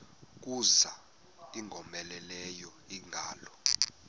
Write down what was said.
kuza ingowomeleleyo ingalo